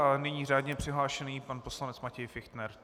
A nyní řádně přihlášený pan poslanec Matěj Fichtner.